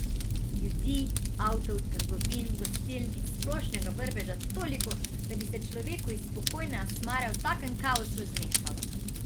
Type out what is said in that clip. Ljudi, avtov, trgovin, gostiln in splošnega vrveža toliko, da bi se človeku iz spokojne Asmare v takem kaosu zmešalo.